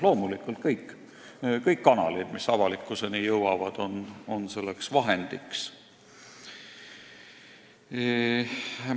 Loomulikult, kõik kanalid, mis avalikkuseni jõuavad, on selleks vahendiks.